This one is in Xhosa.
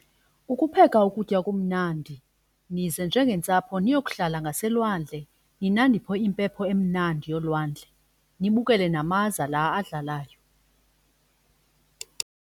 Ukupheka ukutya okumnandi nize njengentsapho niyokuhlala ngaselwandle ninandiphe impepho emnandi yolwandle nibukele namaza la adlalayo.